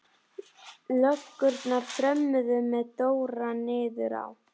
Löggurnar þrömmuðu með Dóra niður á